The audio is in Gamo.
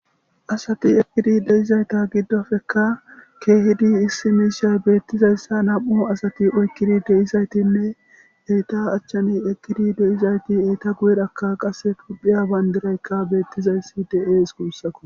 asati ekkidi deizayta giddofeka keehidi issi miishay beettizayssa nam7u asati oykkidi deizaytinne eyta achchani ekkidi deizayti eyta guyerakka qasse tuphiya bayndiraykka beettizayssi de7ees guussako